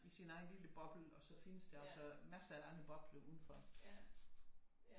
I sin egen lille boble og så der findes der altså massere af andre bobler udenfor